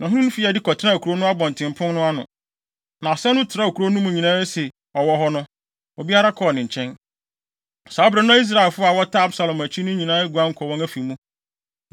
Na ɔhene no fii adi kɔtenaa kurow no abɔntenpon no ano. Na asɛm no trɛw kurow no mu nyinaa sɛ ɔwɔ hɔ no, obiara kɔɔ ne nkyɛn. Saa bere no na Israelfo a wɔtaa Absalom akyi no nyinaa aguan kɔ wɔn afi mu.